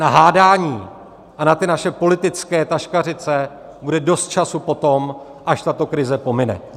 Na hádání a na ty naše politické taškařice bude dost času potom, až tato krize pomine.